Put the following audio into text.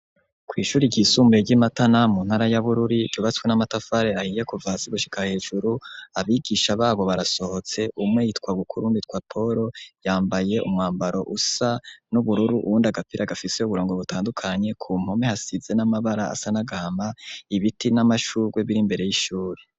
Kw' ishuri ry'isumuye ry'iMatana mu ntara ya Bururi ryubatswe n'amatafar' ahiye kuva hasi gushika hejuru abigisha babo barasohotse umwe yitwa Bukuru uwundi yitwa poro yambaye umwambaro usa n'ubururu uwundi agapira gafise uburongo butandukanye ku mpome hasize n'amabara asa n'agahama, ibiti n'amashurwe bir'imbere y'ishuri.